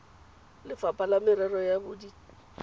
lefapha la merero ya bodit